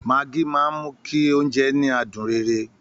Maggi máa ń mú kí oúnjẹ ní adùn rere